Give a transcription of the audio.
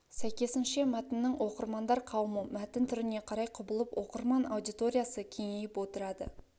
сәйкесінше мәтіннің оқырмандар қауымы мәтін түріне қарай құбылып оқырман аудиториясы кеңейіп отырады